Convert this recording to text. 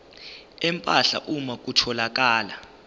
empahla uma kutholakala